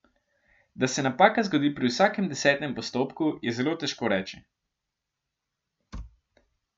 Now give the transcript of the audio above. Da se napaka zgodi pri vsakem desetem postopku, je zelo težko reči.